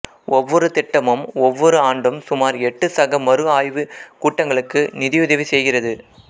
ஒவ்வொரு திட்டமும் ஒவ்வொரு ஆண்டும் சுமார் எட்டு சக மறு ஆய்வுக் கூட்டங்களுக்கு நிதியுதவி செய்கிறது